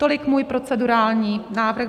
Tolik můj procedurální návrh.